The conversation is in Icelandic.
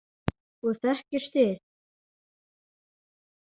Og þekkist þið.